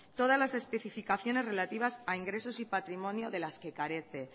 todas las especificaciones relativas a ingresos y patrimonio de las que carece